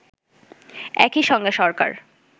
একই সঙ্গে সরকার